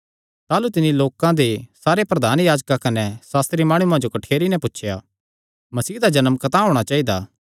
ताह़लू तिन्नी लोकां दे सारे प्रधान याजकां कने सास्त्री माणुआं जो कठ्ठेरी नैं पुछया मसीह दा जन्म कतांह होणा चाइदा